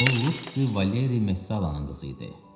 O Lu Valeri Messalanın qızı idi.